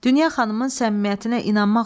Dünya xanımın səmimiyyətinə inanmaq olarmı?